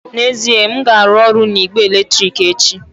N'ezie, m ga-arụ ọrụ na igbe eletrik echi